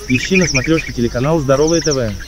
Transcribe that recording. ищи на смотрешке телеканал здоровое тв